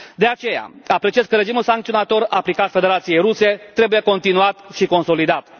De aceea, apreciez că regimul sancționator aplicat Federației Ruse trebuie continuat și consolidat.